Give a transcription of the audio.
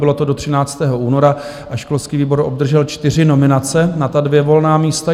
Bylo to do 13. února a školský výbor obdržel čtyři nominace na ta dvě volná místa.